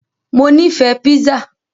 Mo nífẹ̀ẹ́ pizza.